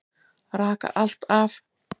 Raka allt af.